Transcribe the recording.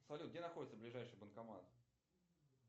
салют где находится ближайший банкомат